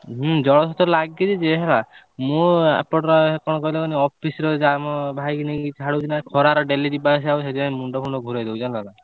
ହୁଁ ଜଳ ଛେତ୍ର ଲାଗିଛି ଯେ ହେଲା ମୁଁ ଏପଟରେ କଣ କହିଲ ମାନେ ମୁଁ ଅଫିସରେ ଅଛି ଆମ ଭାଇକି ନେଇକି ଛାଡ଼ୁଛି ନା ଖରାରେ daily ଯିବା ଆସିବା ହଉଛି ନା ସେଥି ପାଇଁ ମୁଣ୍ଡ ଫୁଣ୍ଡ ବୁଲେଇ ଦଉଛି ଜାଣିଲ ନା?